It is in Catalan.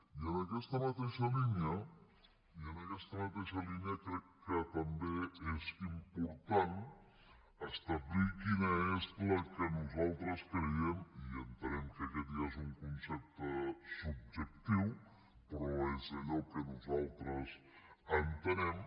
i en aquesta mateixa línia crec que també és important establir quina és la que nosaltres creiem i entenem que aquest ja és un concepte subjectiu però es allò que nosaltres entenem